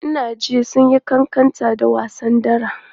Ina jin sun yi ƙanƙanta da wasa dara.